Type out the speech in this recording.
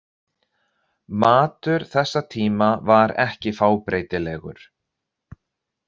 Matur þessa tíma var ekki fábreytilegur.